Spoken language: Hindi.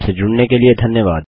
हमसे जुड़ने के लिए धन्यवाद